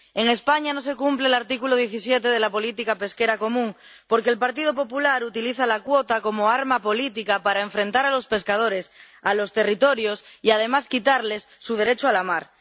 En España no se cumple el artículo 17 de la política pesquera común porque el Partido Popular utiliza la cuota como arma política para enfrentar a los pescadores, a los territorios y, además, quitarles su derecho a la mar.